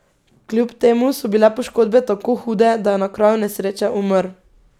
Kljub temu so bile poškodbe tako hude, da je na kraju nesreče umrl.